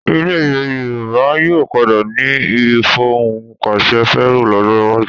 Ilẹ̀ Yorùbá yóò padà ní ìfohùnpàṣẹfẹ́rọ lọ́jọ́ iwájú